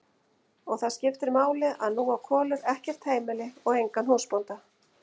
Og það skiptir máli að nú á Kolur ekkert heimili og engan húsbónda.